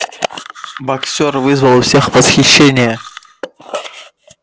боксёр вызвал у всех восхищение